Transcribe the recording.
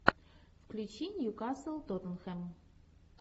включи ньюкасл тоттенхэм